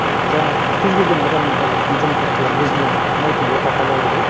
ы жаңағы кез келген адамның қазір интернет арқылы өзіне ұнайтын орта таба алады ғой